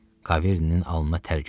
Kaverinin alnına tər gəldi.